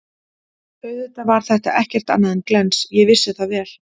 Auðvitað var þetta ekkert annað en glens, ég vissi það vel.